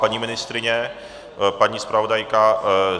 Paní ministryně, paní zpravodajka?